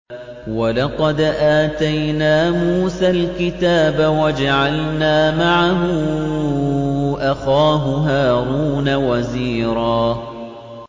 وَلَقَدْ آتَيْنَا مُوسَى الْكِتَابَ وَجَعَلْنَا مَعَهُ أَخَاهُ هَارُونَ وَزِيرًا